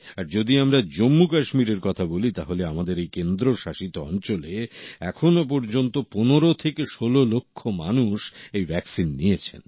আর যদি আমরা জম্মু কাশ্মীরের কথা বলি তাহলে আমাদের এই কেন্দ্রশাসিত অঞ্চলে এখনো পর্যন্ত ১৫ থেকে ১৬ লক্ষ মানুষ এই ভ্যাকসিন নিয়েছেন